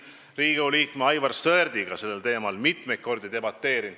Me oleme Riigikogu liikme Aivar Sõerdiga sellel teemal mitmeid kordi debateerinud.